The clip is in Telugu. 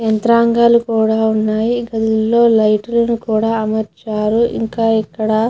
యంత్రాంగాలు కూడా ఉన్నాయి ఇక్కడ లైట్ లు కూడా అమర్చారు. ఇంకా ఇక్కడ --